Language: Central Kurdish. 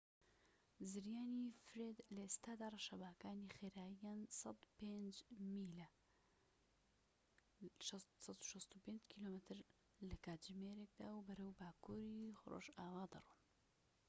زریانی فرێد لە ئێستادا ڕەشەباکانی خێراییان ١٠٥ میلە ١٦٥ کیلۆمەتر/کاتژمێر و بەرەو باکوری ڕۆژئاوا دەڕۆن